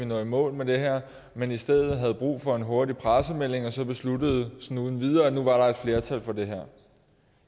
nå i mål med det her men i stedet havde brug for en hurtig pressemelding og så besluttede sådan uden videre at nu var der et flertal for det her